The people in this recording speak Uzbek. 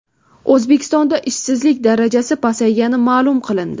O‘zbekistonda ishsizlik darajasi pasaygani ma’lum qilindi.